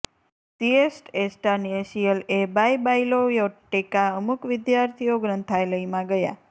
સિયેટ્સ એસ્ટાનેસીઅલ એ બાય બાયલોયોટેકા અમુક વિદ્યાર્થીઓ ગ્રંથાલયમાં ગયા